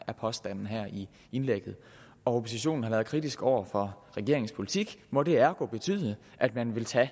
er påstanden i indlægget og oppositionen har været kritisk over for regeringens politik må det ergo betyde at man vil tage